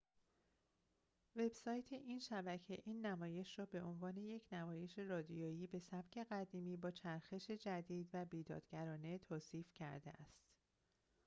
وب‌سایت این شبکه این نمایش را به عنوان یک نمایش رادیویی به سبک قدیمی با چرخش جدید و بیدادگرانه توصیف کرده است